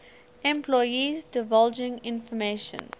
employees divulging information